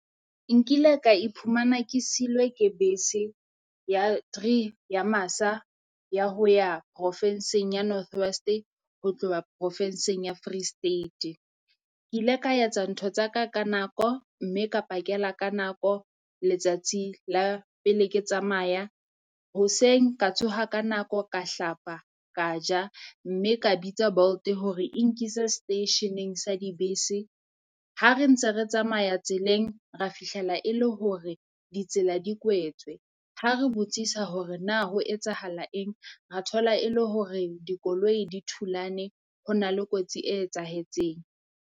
Nkile ka iphumana ke seilwe ke bese ya three ya masa ya ho ya profinsing ya North West ho tloha profinsing ya Free State. Ke ile ka etsa ntho tsa ka ka nako mme ka pakela ka nako letsatsi la pele ke tsamaya, hoseng ka tsoha ka nako ka hlapa ka ja mme ka bitsa Bolt hore e nkise seteisheneng sa dibese. Ha re ntse re tsamaya tseleng, ra fihlela e le hore ditsela di kwetswe. Ha re botsisa hore na ho etsahala eng, ra thola e le hore dikoloi di thulane ho Na le kotsi e etsahetseng.